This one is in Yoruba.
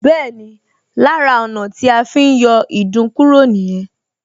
Bẹ́ẹ̀ni, lára ọ̀nà tí a fi ń yọ ìdun kúrò nìyẹn